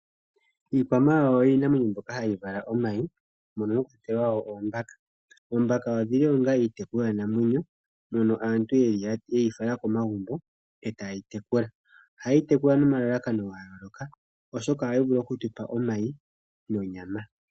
Iikwamawawa oyo iinamwenyo mbyoka hayi vala omayi mono mwa kwatelwa oombaka. Oombaka odhi li onga iitekulwanamwenyo mono aantu ye yi fala komagumbo e taye yi tekula. Ohaye yi tekula nomalalakano ga yooloka, oshoka ohayi vulu okutupa omayi nonyama.